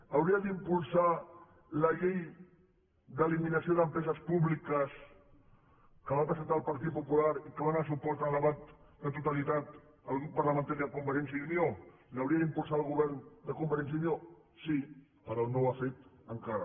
hauria d’impulsar la llei d’eliminació d’empreses públiques que va presentar el partit popular i a què dóna suport al debat de totalitat el grup parlamentari de convergència i unió l’hauria d’impulsar el govern de convergència i unió sí però no ho ha fet encara